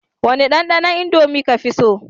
Wane dandanon indomie kafi so?